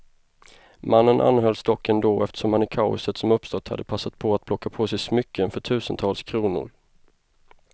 Mannen anhölls dock ändå, eftersom han i kaoset som uppstått hade passat på att plocka på sig smycken för tusentals kronor.